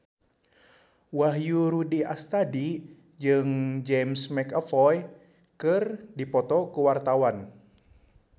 Wahyu Rudi Astadi jeung James McAvoy keur dipoto ku wartawan